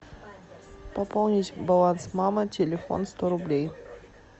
пополнить баланс мамы телефон сто рублей